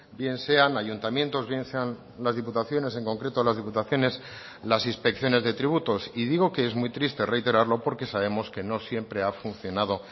bien sean ayuntamientos bien sean las diputaciones en concreto las diputaciones las inspecciones de tributos y digo que es muy triste reiterarlo porque sabemos que no siempre ha funcionado